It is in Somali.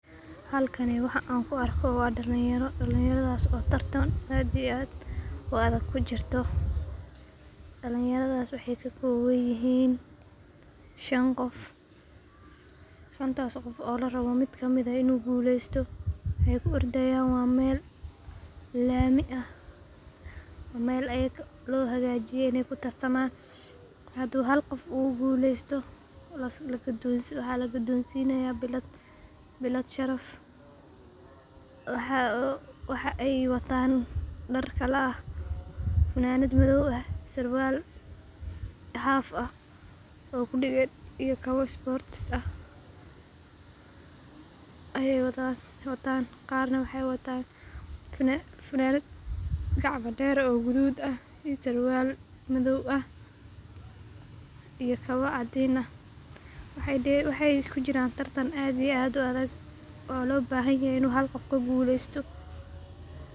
Halkani waxaa aan ku arko waa dalin yaro, dalin yaradaas oo tartan aad iyo aad u adag kujirto, dalin yaradaas waxeey ka kooban yihiin shan qof, shantaas qof oo larabo mid kamid ah in uu guleesto, waxeey ku ordaayan waa meel laami ah, meel loo hagaajiye in aay ku tartamaan ,haduu hal qof uu guleesto waxaa lagudoon sinaaya bilad Sharaf, waxeey wataan dar kala ah fanaanad madoob iyo surwaal haaf ah, ayeey wataan, qaar na waxeey wataan fananad gacmo deer ah oo gaduud ah, iyo surwaal madoob iyo kabo cadiin ah, waxeey kujiraan tartan aad iyo aad u adag, oo loo bahan yahay hal qof inuu guleesto.